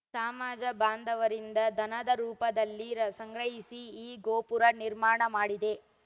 ಸ ಮಾಜ ಬಾಂಧವರಿಂದ ದಾನದ ರೂಪದಲ್ಲಿ ಸಂಗ್ರಹಿಸಿ ಈ ಗೋಪುರ ನಿರ್ಮಾಣ ಮಾಡಿದೆ